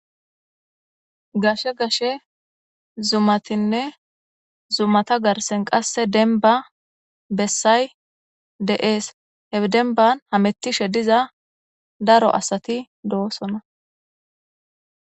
Gashe gashe zumatinne zumata garsen qasse denba bessay de7ees hedenban hamettishe diza daro asati doosona.